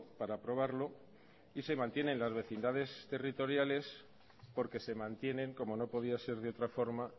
para aprobarlo y se mantienen las vecindades territoriales porque se mantienen como no podía ser de otra forma